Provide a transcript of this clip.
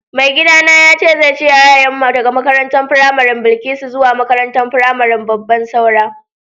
Mai gida na yace zai cire yaran mu daga makarantan firamarin Bilkisu zuwa makarantan firamarin Babban Saura.